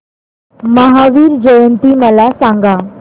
महावीर जयंती मला सांगा